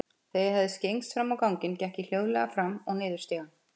Þegar ég hafði skyggnst fram á ganginn, gekk ég hljóðleg fram og niður stigann.